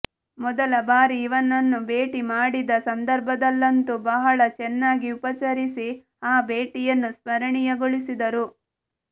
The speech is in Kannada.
ಮೊದಲ ಬಾರಿ ಇವನನ್ನು ಭೇಟಿ ಮಾಡಿದ ಸಂದರ್ಭದಲ್ಲಂತೂ ಬಹಳ ಚೆನ್ನಾಗಿ ಉಪಚರಿಸಿ ಆ ಭೇಟಿಯನ್ನು ಸ್ಮರಣೀಯಗೊಳಿಸಿದ್ದರು